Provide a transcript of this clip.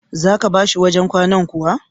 Za ka ba shi wajen kwanan kuwa?